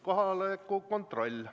Kohaloleku kontroll.